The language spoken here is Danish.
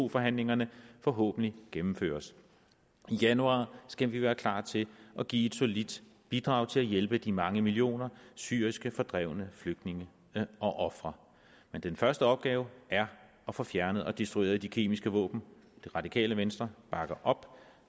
forhandlingerne forhåbentlig gennemføres i januar skal vi være klar til at give et solidt bidrag til at hjælpe de mange millioner syriske fordrevne flygtninge og ofre men den første opgave er at få fjernet og destrueret de kemiske våben det radikale venstre bakker op